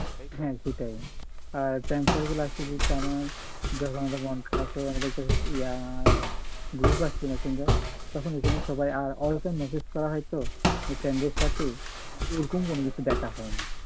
হ্যাঁ সেটাই আহ যখন আমাদের মন খারাপ হয় group আছে messenger তখন ওখানে সবাই আর message করা হয়তো friend এর সাথে তাই ওরকম কোনোকিছু দেখা হয়না।